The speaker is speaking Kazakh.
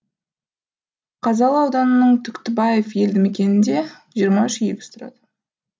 қазалы ауданының түктібаев елді мекенінде жиырма үш егіз тұрады